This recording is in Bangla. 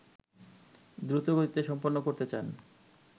দ্রুতগতিতে সম্পন্ন করতে চান